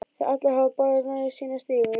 Þegar allir hafa borðað nægju sína stígur